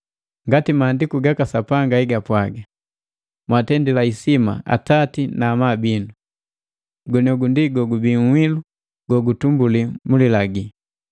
Ngati Maandiku gaka Sapanga egapwaga, “Mwaatendila isima atati na amabu binu,” goniogu ndi nhilu gogubii guutumbuli mu lilagi,